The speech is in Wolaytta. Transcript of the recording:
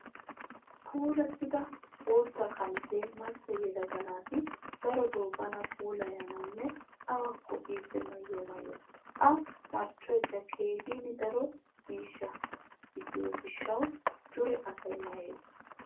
Puulattida bootta qamisee macca yelaga naati darotoo bana puulayanawunne awukko biiddi mayyiyo mayyo. A marccoyikka keehin daro miishsha gidiyoo gishshawu dure asay mayyes.